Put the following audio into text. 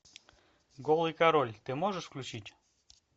голый король ты можешь включить